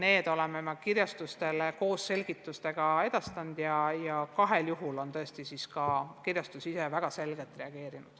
Me oleme need kõik kirjastustele koos selgitustega edastanud ja kahel juhul on tõesti ka kirjastus ise väga selgelt reageerinud.